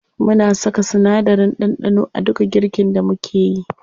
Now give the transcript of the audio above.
Muna saka sinadarin ɗanɗano a duka girkin da mukeyi.